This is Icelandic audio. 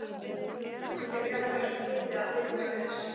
Það eitt mundi greiða mér götu að dyrum guðs.